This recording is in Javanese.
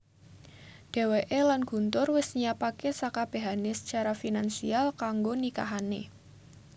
Dheweké lan Guntur wis nyiapaké sakabehané sacara finansial kanggo nikahané